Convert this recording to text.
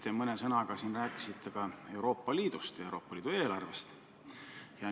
Te rääkisite siin mõne sõnaga ka Euroopa Liidust ja Euroopa Liidu eelarvest.